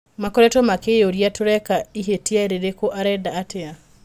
Makoretwo makĩyũria tũreka ihĩtia rĩrĩku, arenda atĩa?